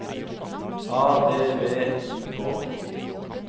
A V V I K